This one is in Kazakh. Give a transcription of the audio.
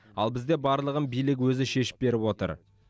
ал бізде барлығын билік өзі шешіп беріп отыр